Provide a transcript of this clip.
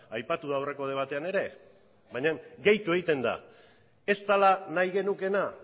aipatu da aurreko debatean ere baina gehitu egiten da ez dela nahi genukeena